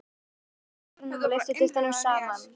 Blandið hveitinu, sykrinum og lyftiduftinu saman við.